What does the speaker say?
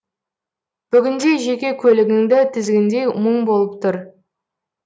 бүгінде жеке көлігіңді тізгіндеу мұң болып тұр